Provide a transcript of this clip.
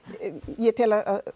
ég tel að